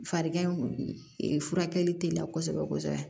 Farigan in furakɛli teliya kosɛbɛ kosɛbɛ